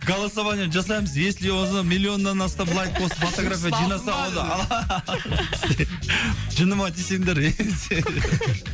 голосование жасаймыз если миллионнан астам лайк басып фотография жинаса онда жыныма тисеңдер